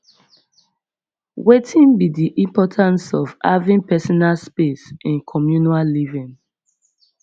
wetin be di importance of having personal space in communal living